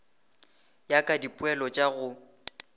ya ka dipoelo tša go